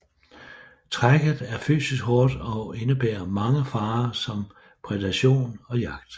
Trækket er fysisk hårdt og indebærer mange farer som predation og jagt